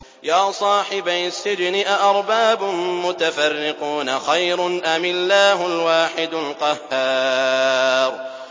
يَا صَاحِبَيِ السِّجْنِ أَأَرْبَابٌ مُّتَفَرِّقُونَ خَيْرٌ أَمِ اللَّهُ الْوَاحِدُ الْقَهَّارُ